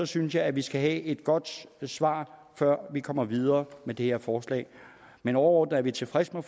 synes jeg at vi skal have et godt svar før vi kan komme videre med det her forslag men overordnet er vi tilfredse med